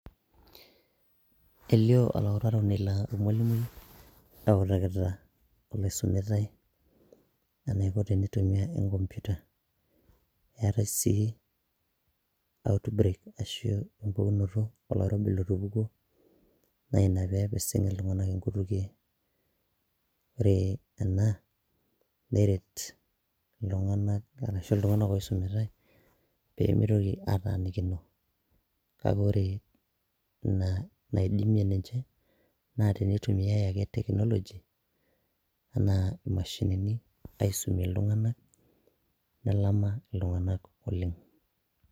elio olautaroni laa ormwalimui eutakita oloisumitae eniko tenitumia enkompiuta eetae sii outbreak ashu empukunoto oloirobi lotupukuo naa ina pepising iltung'anak inkutukie ore ena neret iltung'anak arashu iltung'anak oisumitae peemitoki atanikino kake ore ina naidimie ninche naa tenitumie ake technology enaa imashinini aisumie iltung'anak nelama iltung'anak oleng.